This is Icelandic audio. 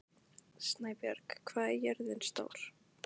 Snæbjörg, hvað er jörðin stór?